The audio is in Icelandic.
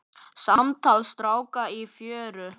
Samtal stráka í fjöru